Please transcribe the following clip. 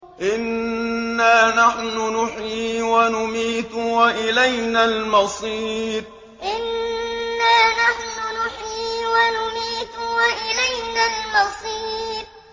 إِنَّا نَحْنُ نُحْيِي وَنُمِيتُ وَإِلَيْنَا الْمَصِيرُ إِنَّا نَحْنُ نُحْيِي وَنُمِيتُ وَإِلَيْنَا الْمَصِيرُ